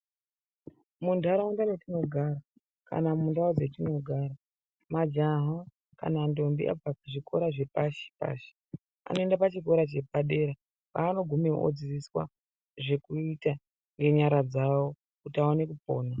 Muntaraunda mwetinogara kana mundau dzatinogara majaha kana ndombi abva kusvikora zvepashi pashi anoenda pachikora chepadera kwanogumeyo odzidziswa zvekuita ngenyara dzavo kuti aone kupona.